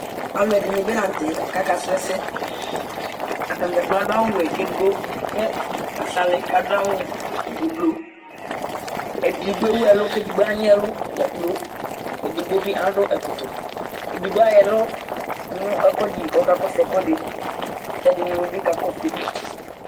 Alʋɛdìní bi la ntɛ kʋ aka su ɛsɛ Atani dza kplo adu awu wɛ kʋ ɛdigbo la sali kʋ adu awu ʋblu Ɛdigbo ewu ɛlu kʋ ɛdigbo anyi ɛlu dza kplo Ɛdígbo bi adu ɛkɔtɔ Ɛdigbo ayʋ ɛlu yɔ du ɛkʋɛdi li kʋ ɔkakɔsu ɛkʋɛdi kʋ ɛdiní bi kakɔsu ayìlí